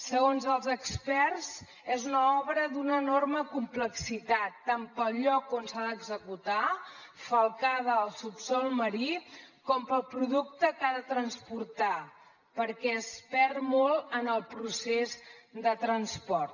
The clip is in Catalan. segons els experts és una obra d’una enorme complexitat tant pel lloc on s’ha d’executar falcada al subsol marí com pel producte que ha de transportar perquè es perd molt en el procés de transport